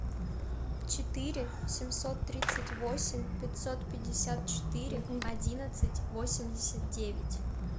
четыре семьсот тридцать восемь пятьсот пятьдесят четыре одиннадцать восемьдесят девять